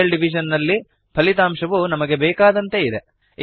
real division ನಲ್ಲಿ ಫಲಿತಾಂಶ ವು ನಮಗೆ ಬೇಕಾದಂತೆ ಇದೆ